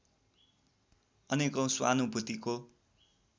अनेकौँ स्वानुभूतिको